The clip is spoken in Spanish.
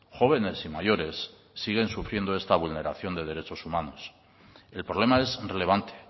jóvenes y mayores siguen sufriendo esta vulneración de derechos humanos el problema es relevante